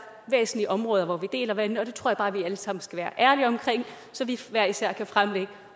væsentlige områder der deler vandene og det tror jeg bare vi alle sammen skal være ærlige omkring så vi hver især kan fremlægge